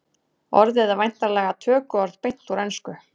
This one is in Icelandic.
orðið er væntanlega tökuorð beint úr ensku